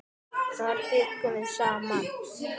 Þar bjuggum við saman.